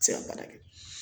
Se ka baara kɛ